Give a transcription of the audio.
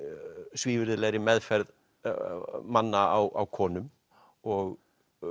svívirðilegri meðferð manna á konum og